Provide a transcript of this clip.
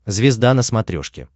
звезда на смотрешке